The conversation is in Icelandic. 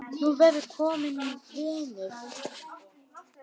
Þú verður kominn vinur.